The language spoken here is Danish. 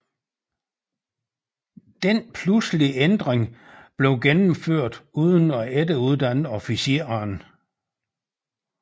Denne pludselige ændring blev gennemført uden at efteruddanne officererne